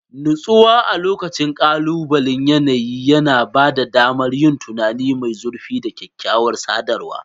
Natsuwa a lokacin kalubalen yanayi yana ba da damar yin tunani mai zurfi da kyakkyawar sadarwa.